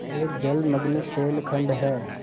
यहाँ एक जलमग्न शैलखंड है